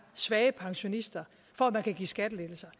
svage pensionister for at man kan give skattelettelser